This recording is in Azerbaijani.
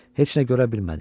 Heç nə görə bilmədi.